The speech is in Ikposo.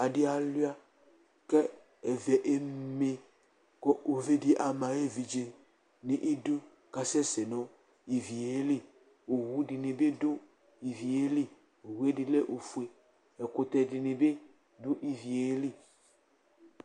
Adɩ alʋɩa kʋ ivi eme kʋ uvi dɩ ama ayʋ evidze nʋ idu kʋ asɛsɛ nʋ ivi yɛ li Owu dɩnɩ bɩ dʋ ivi yɛ li Owu yɛ dɩ lɛ ofue Ɛkʋtɛ dɩnɩ bɩ dʋ ivi yɛ li